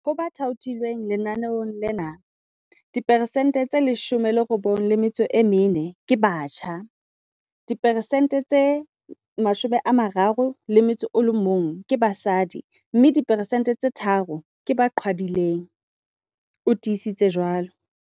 Ho ba thaothilweng lenaneong lena, 94 percent ke batjha, 31 percent ke basadi mme diphesente tse tharo ke ba qhwadileng, o tiisitse jwalo.